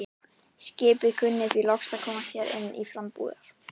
Skipið kunni því að lokast hér inni til frambúðar.